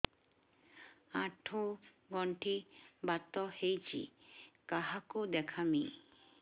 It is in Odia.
ଆଣ୍ଠୁ ଗଣ୍ଠି ବାତ ହେଇଚି କାହାକୁ ଦେଖାମି